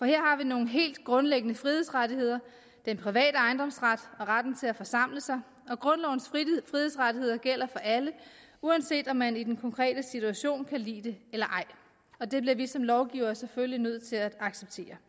her har vi nogle helt grundlæggende frihedsrettigheder den private ejendomsret og retten til at forsamle sig grundlovens frihedsrettigheder gælder for alle uanset om man i den konkrete situation kan lide det eller ej og det bliver vi som lovgivere selvfølgelig nødt til at acceptere